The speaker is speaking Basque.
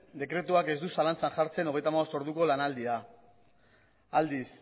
dekretuak ez du zalantzan jartzen hogeita hamabost orduko lanaldia aldiz